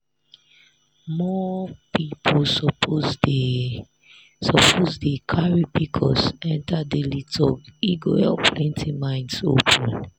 more people suppose dey suppose dey carry pcos enter daily talk e go help plenty minds open.